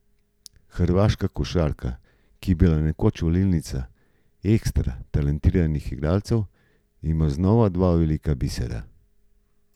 Hrvaška košarka, ki je bila nekoč valilnica ekstra talentiranih igralcev, ima znova dva velika bisera.